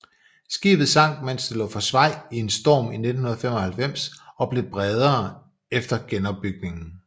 Skibet sank mens det lå for svaj i en storm 1995 og blev bredere efter genopbygningen